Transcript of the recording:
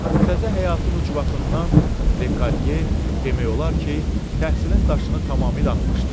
Bu təzə həyatın ucbatından Lediye demək olar ki, təhsilin daşını tamamilə atmışdı.